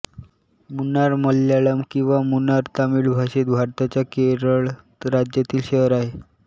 मुन्नारमल्याळम किंवा मुणारतमिळभाषेत भारताच्या केरळ राज्यातील शहर आहे